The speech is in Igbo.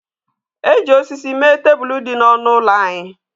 E ji osisi mee tebụl dị n'ọnụ ụlọ anyị